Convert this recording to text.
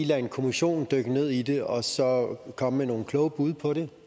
lade en kommission dykke ned i det og så komme med nogle kloge bud på det